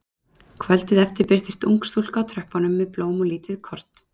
Kvöldið eftir birtist ung stúlka á tröppunum með blóm og lítið kort.